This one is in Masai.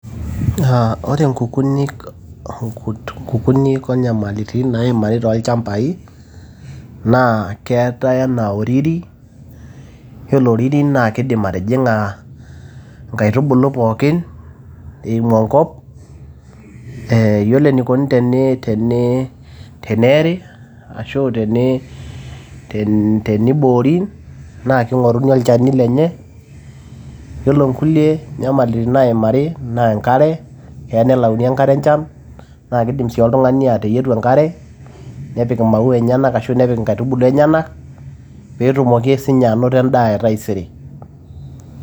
Aa ore nkukunik nkukunik onyamalitin naimari tolchambai naa keetae anaa oriri . yiolo oriri naa kidim atijinga nkaitubulu pookin eimu enkop .ee yiolo enikoni teni teni teneeri ashu teni teniboori naa kingoruni olchani lenye . yiolo nkulie nyamalitin naimari naa enkare ,kelo nelayuni enkare enchan ,naa kidim sii oltungani ateyietu enkare nepik imau enyenak ashau nepik inkaitubulu enyenak petumoki sinye anoto endaa etaisere.